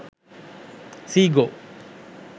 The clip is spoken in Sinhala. zigo